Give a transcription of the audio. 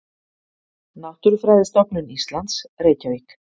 Náttúrufræðistofnun Íslands, Reykjavík.